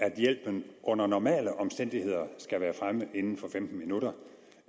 at hjælpen under normale omstændigheder skal være fremme inden for femten minutter